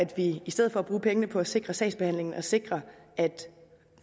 vi i stedet for at bruge pengene på at sikre sagsbehandlingen og sikre at